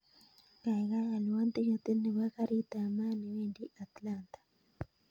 Kaigaigai alwon tiketit nepo karit ap maat newendi atlanta